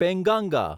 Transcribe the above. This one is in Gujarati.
પેંગાંગા